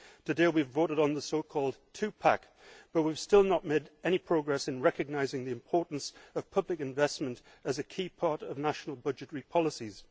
Today we have voted on the so called Two Pack but we have still not made any progress in recognising the importance of public investment as a key part of national budgetary policies.